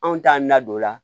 Anw t'an na don o la